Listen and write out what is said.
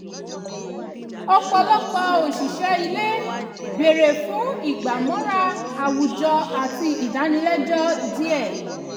ọ̀pọ̀lọpọ̀ òṣìṣẹ́ ilé bèrè fún ìgbàmọ́ra àwùjọ àti ìdánilẹ́jọ́ díẹ̀